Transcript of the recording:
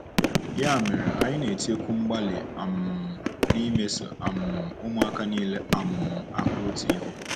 Ya mere, anyị na-etinyekwu mgbalị um n'imeso um ụmụaka niile um ahụ otu ihe.